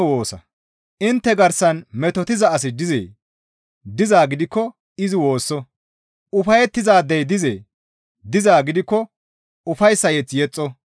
Intte garsan metotiza asi dizee? Dizaa gidikko izi woosso. Ufayettizaadey dizee? Dizaa gidikko ufayssa mazamure yexxo.